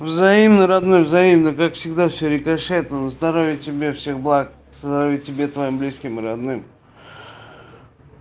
взаимно родной взаимно как всегда все рикошетом здоровья тебе всех благ здоровья тебе твоим близким и родным